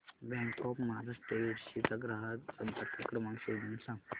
bank of Maharashtra Yedshi चा ग्राहक संपर्क क्रमांक शोधून सांग